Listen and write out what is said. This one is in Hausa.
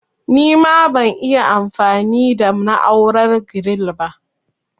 Nima ban'iya anfami da na'urar giril ba